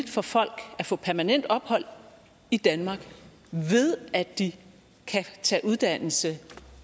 for folk at få permanent ophold i danmark ved at de kan tage uddannelse